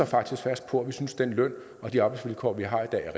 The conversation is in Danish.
faktisk fast på at vi synes den løn og de arbejdsvilkår vi har i dag er